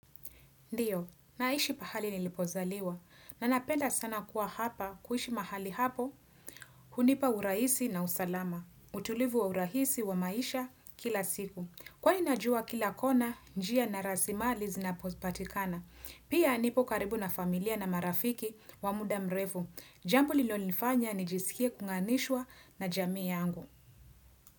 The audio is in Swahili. Ndiyo, naishi pahali nilipozaliwa. Nanapenda sana kuwa hapa, kuishi mahali hapo, hunipa urahisi na usalama. Utulivu wa urahisi wa maisha kila siku. Kwani najua kila kona, njia na rasimali zinapo patikana. Pia nipo karibu na familia na marafiki wa muda mrefu. Jambo lilo nifanya ni jisikie kunganishwa na jamii yangu.